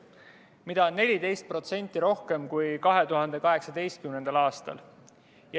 Seda oli 14% rohkem kui 2018. aastal.